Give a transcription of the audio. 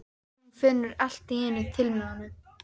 Og hún finnur allt í einu til með honum.